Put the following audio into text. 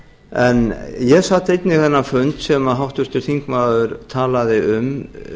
en ég sat einnig þennan fund sem háttvirtur þingmaður talaði um